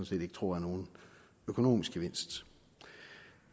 set ikke tror er nogen økonomisk gevinst